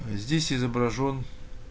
а здесь изображён